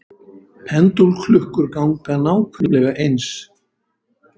Pendúlklukkur ganga nákvæmlega eins.